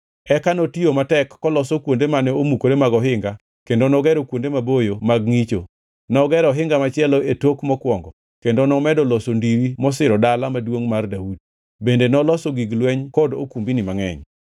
Eka notiyo matek koloso kuonde mane omukore mag ohinga kendo nogero kuonde maboyo mag ngʼicho. Nogero ohinga machielo e tok mokwongo kendo nomedo loso ndiri mosiro Dala Maduongʼ mar Daudi. Bende noloso gig lweny kod okumbni mangʼeny.